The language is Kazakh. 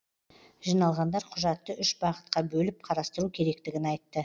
жиналғандар құжатты үш бағытқа бөліп қарастыру керектігін айтты